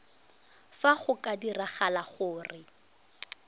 fa go ka diragala gore